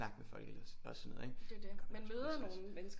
Folk ellers og sådan noget ikke det gør man også på Ris Ras